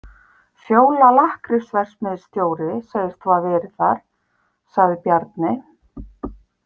Fjóla lakkrísverksmiðjustóri segist hafa verið þar, sagði Bjarni.